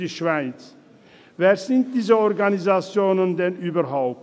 Wer sind diese Organisationen denn überhaupt?